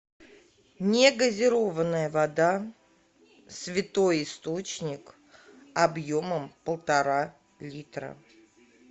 негазированная вода святой источник объемом полтора литра